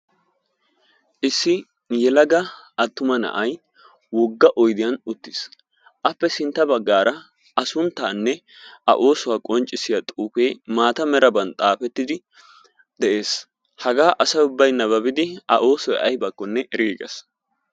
Issi yelaga atumma na'ay wogga oyddiyan uttiis appe simtta baggaara a oosuwa qonccissiya xuufee maata meraban xaafettiddi de'ees. Hagaa asa ubbay nababidi a oosoy ayibakkonne eriiges.